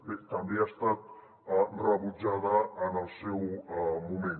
bé també ha estat rebutjada en el seu moment